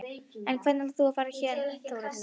En hvernig ætlar þú að fara héðan Þórhildur?